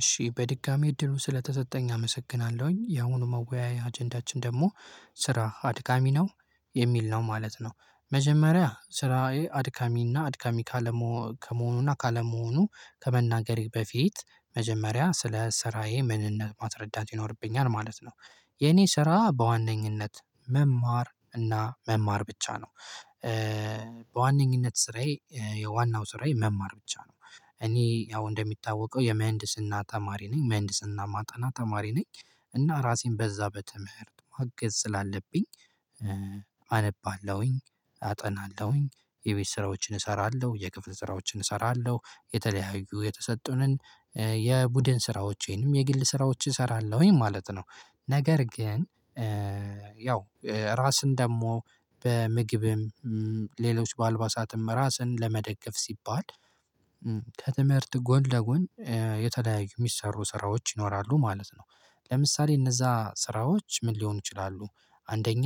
እሺ፣ በድጋሚ እድሉ ስለተሰጠኝ አመሰግናለሁኝ፤ የአሁኑ የመወያያ አጀንዳችን ደግሞ "ስራ አድካሚ ነው" የሚል ነው ማለት ነው፤ መጀመሪያ ስራዬ አድካሚና አድካሚ ከመሆኑና ካለመሆኑ ከመናገሬ በፊት፣ መጀመሪያ ስለ ስራዬ ምንነት ማስረዳት ይኖርብኛል ማለት ነው፤ የእኔ ስራ በዋነኝነት መማር እና መማር ብቻ ነው። በዋነኝነት ስራዬ፣ ዋናው ስራዬ መማር ብቻ ነው። እኔ ያው እንደሚታወቀው የምሕንድስና ተማሪ ነኝ፤ ምሕንድስና የማጠና ተማሪ ነኝ፤ እና ራሴን በዚያ በትምህርት ማገዝ ስላለብኝ አነባለሁኝ፣ አጠናለሁኝ፣ የቤት ስራዎችን እሰራለሁ፣ የክፍል ስራዎችን እሰራለሁ፤ የተለያዩ የተሰጡንን የቡድን ስራዎችንም የግል ስራዎችንም እሰራለሁኝ ማለት ነው፤ ነገር ግን ያው ራስን ደግሞ በምግብም፣ በሌሎች በአልባሳትም ራስን ለመደገፍ ሲባል ከትምህርት ጎን ለጎን የተለያዩ የሚሰሩ ስራዎች ይኖራሉ ማለት ነው፤ ለምሳሌ እነዚያ ስራዎች ምን ሊሆኑ ይችላሉ? አንደኛ፦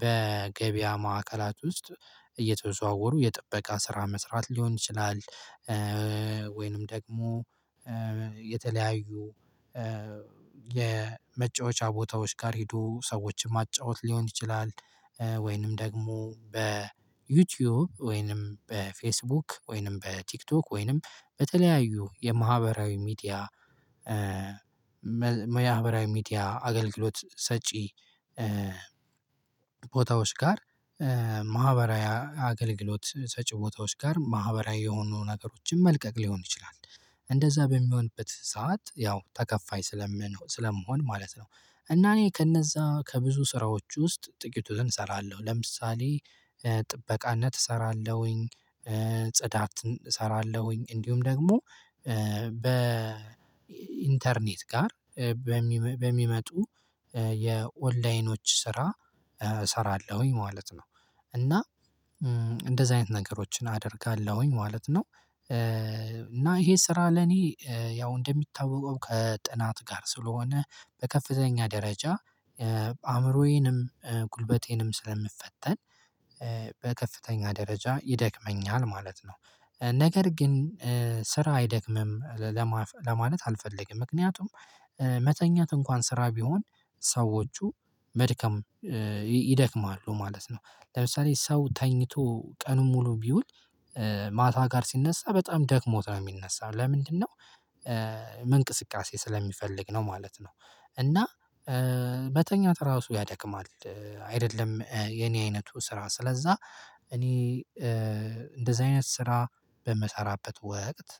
በገበያ ማዕከላት ውስጥ እየተዘዋወሩ የጥበቃ ስራ መስራት ሊሆን ይችላል። ወይም ደግሞ የተለያዩ የመጫወቻ ቦታዎች ጋር ሄዶ ሰዎችን ማጫወት ሊሆን ይችላል። ወይም ደግሞ በዩቲዩብ፣ ወይም በፌስቡክ፣ ወይም በቲክቶክ፣ ወይም በተለያዩ የማህበራዊ ሚዲያ ማህበራዊ ሚዲያ አገልግሎት ሰጪ ቦታዎች ጋር፣ ማህበራዊ አገልግሎት ሰጪ ቦታዎች ጋር ማህበራዊ የሆኑ ነገሮችን መልቀቅ ሊሆን ይችላል፤ እንደዚያ በሚሆንበት ሰዓት ያው ተከፋይ ስለምሆን ማለት ነው፤ እና እኔ ከእነዚያ ከብዙ ስራዎች ውስጥ ጥቂቱን እሰራለሁ፤ ለምሳሌ ጥበቃነት እሰራለሁኝ፣ ጽዳት እሰራለሁኝ፤ እንዲሁም ደግሞ በኢንተርኔት በኩል በሚመጡ የኦንላይን ስራዎች እሰራለሁኝ ማለት ነው፤ እና እንደዚህ አይነት ነገሮችን አደርጋለሁኝ ማለት ነው፤ እና ይሄ ስራ ለእኔ ያው እንደሚታወቀው ከጥናት ጋር ስለሆነ፣ በከፍተኛ ደረጃ አእምሮዬንም ጉልበቴንም ስለምፈተን በከፍተኛ ደረጃ ይደክመኛል ማለት ነው፤ ነገር ግን ስራ አይደክምም ለማለት አልፈልግም፤ ምክንያቱም መተኛት እንኳ ስራ ቢሆን፣ ሰዎች መድከማቸው አይቀርም ማለት ነው፤ ለምሳሌ ሰው ተኝቶ ቀኑን ሙሉ ቢውል፣ ማታ ላይ ሲነሣ በጣም ደክሞት ነው የሚነሳው፤ ለምንድን ነው? መንቀሳቀስ ስለሚፈልግ ነው ማለት ነው፤ እና መተኛት ራሱ ያደክማል። አይደለም የእኔ ዓይነቱ ስራ፤ ስለዚያ እኔ እንደዚህ አይነት ስራ በምሰራበት ወቅት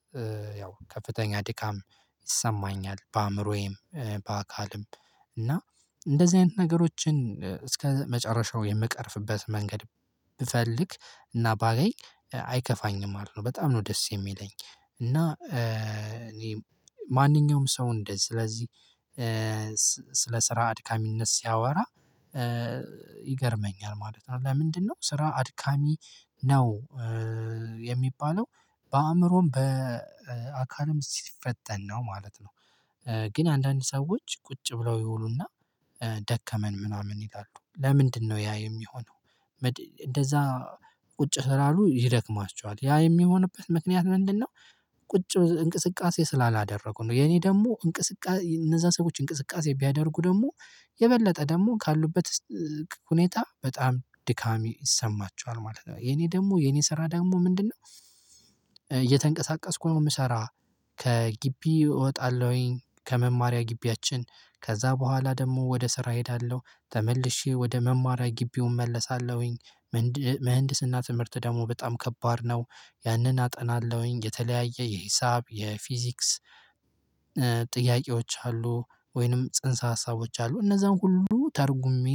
ያው ከፍተኛ ድካም ይሰማኛል፣ በአእምሮዬም በአካሌም፤ እና እንደዚህ አይነት ነገሮችን እስከመጨረሻው የምቀርፍበት መንገድ ብፈልግ እና ባገኝ አይከፋኝም፤ ይልቁንም በጣም ነው ደስ የሚለኝ፤ እና እኔ ማንኛውም ሰው እንደዚህ ስለዚሁ ስለ ስራ አድካሚነት ሲያወራ ይገርመኛል ማለት ነው፤ ለምንድን ነው "ስራ አድካሚ ነው" የሚባለው በአእምሮም በአካልም ሲፈተን ነው ማለት ነው። ግን አንዳንድ ሰዎች ቁጭ ብለው ይውሉና "ደከመን" ምናምን ይላሉ፤ ለምንድን ነው ያ የሚሆነው? እንደዚያ ቁጭ ስላሉ ይደክማቸዋል፤ ያ የሚሆንበት ምክንያት ምንድን ነው? ቁጭ ብለው እንቅስቃሴ ስላላደረጉ ነው፤ የእኔ ደግሞ እንቅስቃሴ እነዚያ ሰዎች እንቅስቃሴ ቢያደርጉ ደግሞ የበለጠ ደግሞ ካሉበት ሁኔታ በጣም ድካም ይሰማቸዋል ማለት ነው፤ የእኔ ደግሞ የእኔ ስራ ደግሞ ምንድን ነው? እየተንቀሳቀስኩ የምሰራ ከግቢ እወጣለሁኝ፣ ከመማሪያ ግቢያችን፤ ከዚያ በኋላ ደግሞ ወደ ስራ እሄዳለሁ፤ ተመልሼ ወደ መማሪያ ግቢው እመለሳለሁኝ። የምህንድስና ትምህርት ደግሞ በጣም ከባድ ነው፤ ያንን አጠናለሁኝ፤ የተለያየ የሂሳብ፣ የፊዚክስ ጥያቄዎች አሉ ወይም ጽንሰ ሐሳቦች አሉ፤ እነዚያን ሁሉ ተርጉሜ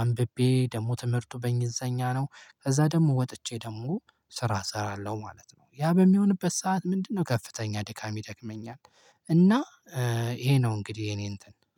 አንብቤ፣ ደግሞ ትምህርቱ በእንግሊዝኛ ነው፤ ከዚያ ደግሞ ወጥቼ ደግሞ ስራ እሰራለሁ ማለት ነው፤ ያ በሚሆንበት ሰዓት ምንድን ነው? ከፍተኛ ድካም ይደክመኛል፤ እና ይሄ ነው እንግዲህ የእኔ ነገር